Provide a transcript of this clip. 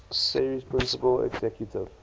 series principal executive